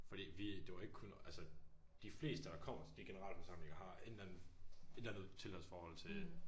Fordi vi det var ikke kun altså de fleste der kommer til de generalforsamlinger har en eller anden et eller andet tilhørsforhold til